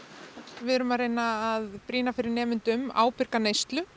við erum að reyna að brýna fyrir nemendum ábyrga neyslu